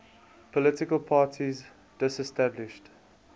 political parties disestablished